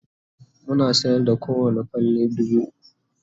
muna sayar da kowani falle dubu ukwu